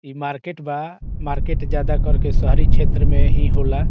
इ मार्केट बा मार्केट ज्यादा करके शहरी छेत्र में ही होला।